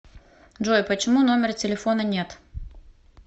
джой почему номера телефона нет